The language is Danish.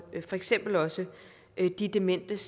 for eksempel også de dementes